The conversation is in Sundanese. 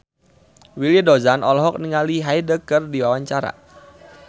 Willy Dozan olohok ningali Hyde keur diwawancara